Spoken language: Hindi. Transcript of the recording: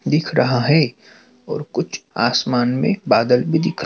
दिख रहा है और कुछ आसमान में बादल भी दिख--